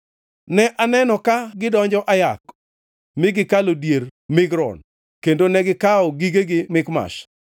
Ne aneno ka gidonjo Ayath, mi gikalo dier Migron; kendo negikawo gigegi Mikmash.